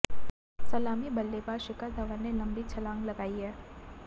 सलामी बल्लेबाज शिखर धवन ने लंबी छलांग लगाई है